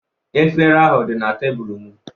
Efere ahụ dị na tebụlụ m